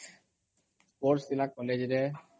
sports ଥିଲା କଲେଜରେ